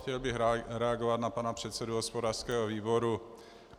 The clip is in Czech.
Chtěl bych reagovat na pana předsedu hospodářského výboru.